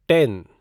ten